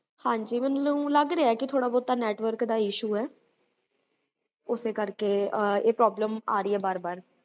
ਹ੍ਜ੍ਕ